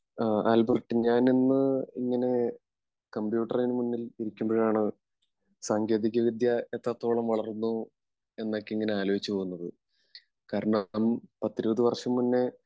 അഹ് Albert ഞാനിന്ന് ഇങ്ങനെ കമ്പ്യൂട്ടറിന് മുമ്പിൽ ഇരിക്കുമ്പോഴാണ് സാങ്കേതിക വിദ്യ ഒക്കെ എത്രത്തോളം വളർന്നു എന്നൊക്കെ എങ്ങനെ ആലോചിച്ച് പോകുന്നത് കാരണം പത്തിരുപത് വർഷം മുന്നേ